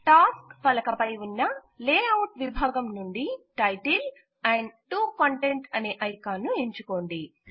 tasks పలక పై గల లేఅవుట్ విభాగము నుండి టైటిల్ మరియు 2 కంటెంట్ అనే ఐకాన్ ఎంచుకోండి